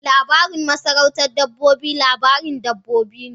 Labarin masarautar dabbobi labarin dabbobi ne.